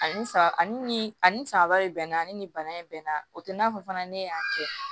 Ani sa ani ni ani sanba de bɛnna ani ni bana in bɛnna o tɛ i n'a fɔ fana ne y'a kɛ